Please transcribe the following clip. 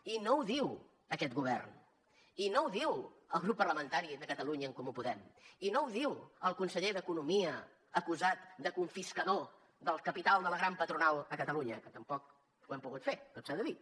i no ho diu aquest govern i no ho diu el grup parlamentari de catalunya en comú podem i no ho diu el conseller d’economia acusat de confiscador del capital de la gran patronal a catalunya que tampoc ho hem pogut fer tot s’ha de dir